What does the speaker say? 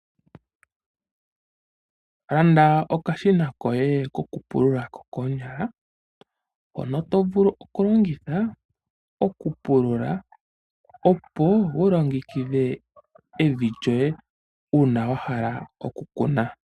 Landa okashina koye kokupulula kokoonyala hono to vulu oku longitha okupulula opo wu longekidhe evi lyoye uuna wa hala oku kuna.